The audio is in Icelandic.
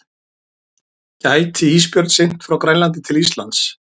Gæti ísbjörn synt frá Grænlandi til Íslands?